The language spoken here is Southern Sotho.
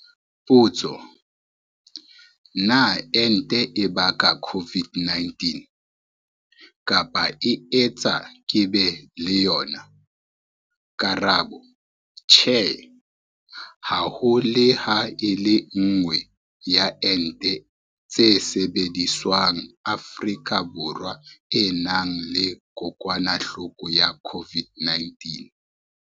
Potso- Na ente e baka COVID-19 kapa e etsa ke be le yona? Karabo- Tjhe. Ha ho le ha e le nngwe ya ente tse sebediswang Afrika Borwa e nang le kokwanahloko ya COVID-19.